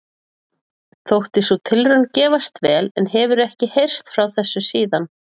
Þótti sú tilraun gefast vel en hefur ekki heyrst frá þessu síðan.